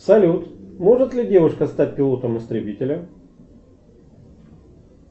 салют может ли девушка стать пилотом истребителя